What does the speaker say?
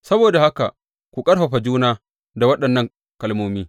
Saboda haka ku ƙarfafa juna da waɗannan kalmomi.